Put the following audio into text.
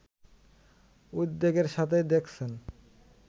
উদ্বেগের সাথেই দেখছেন